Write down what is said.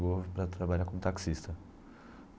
Para trabalhar como taxista.